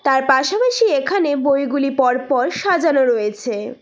তার পাশাপাশি এখানে বইগুলি পরপর সাজানো রইছে।